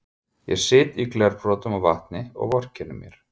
Ég sit í glerbrotum og vatni og vorkenni mér.